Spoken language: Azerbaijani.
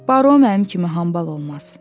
Baro mənim kimi hambal olmaz.